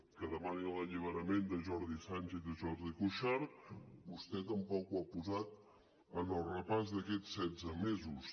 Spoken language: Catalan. que demani l’alliberament de jordi sànchez i jordi cuixart vostè tampoc ho ha posat en el repàs d’aquests setze mesos